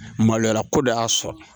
Maloya ko dɔ y'a sɔrɔ